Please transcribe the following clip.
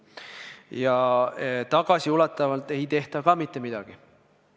Ja tagasiulatuvalt ei tehta ka mitte midagi.